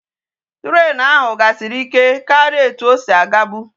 Train ahu gasiri ike karia etu osi aga bu